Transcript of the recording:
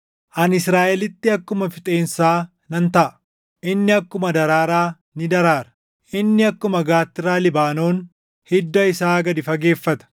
Ani Israaʼelitti akkuma fixeensaa nan taʼa; inni akkuma daraaraa ni daraara. Inni akkuma gaattiraa Libaanoon hidda isaa gad fageeffata;